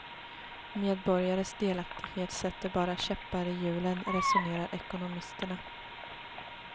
Medborgares delaktighet sätter bara käppar i hjulen, resonerar ekonomisterna.